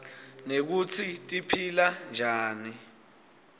nekutsi tiphilanjani